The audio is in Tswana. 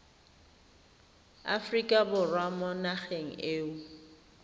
aforika borwa mo nageng eo